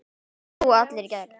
Þarna slógu allir í gegn.